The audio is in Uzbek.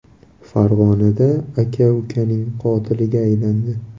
Farg‘onada aka ukaning qotiliga aylandi.